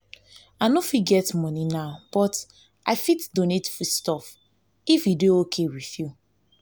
i no get money now but i fit donate food stuff if e dey okay with you